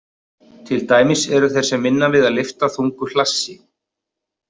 Til dæmis eru þeir sem vinna við að lyfta þungu hlassi.